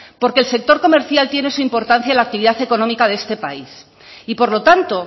porque el sector comercial tiene su importancia en la actividad económica de este país y por lo tanto